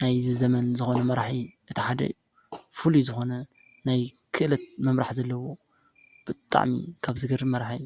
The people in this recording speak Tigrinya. ናይዚ ዘመን ዝኮኑ መራሒ እቲ ሓደ እዩ። ፍሉይ ዝኮነ ናይ ክእለት ምምራሕ ዘለዎ ብጣዕሚ ካብ ዝገርም መራሒ።